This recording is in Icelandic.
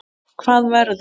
Hvað verður?